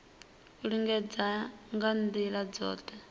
u lingedza nga ndila dzothe